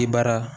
I bara